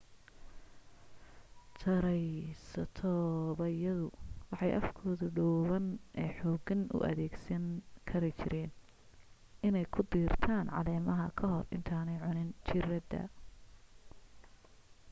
taraysatoobyadu waxay afkooda dhuuban ee xooggan u adeegsan kari jireen inay ku diirtaan caleemaha ka hor intanaay cunin jiradda